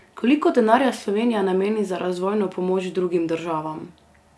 Koliko denarja Slovenija nameni za razvojno pomoč drugim državam?